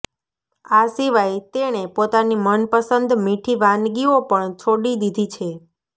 આ સિવાય તેણે પોતાની મનપસંદ મીઠી વાનગીઓ પણ છોડી દીધી છે